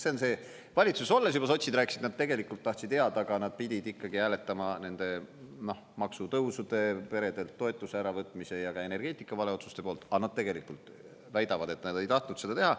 See on see, valitsuses olles juba sotsid rääkisid, et nad tegelikult tahtsid head, aga nad pidid ikkagi hääletama nende maksutõusude, peredelt toetuse äravõtmise ja ka energeetika valeotsuste poolt, aga nad tegelikult väidavad, et nad ei tahtnud seda teha.